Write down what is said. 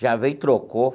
Já veio, trocou.